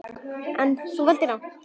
En, þú valdir rangt.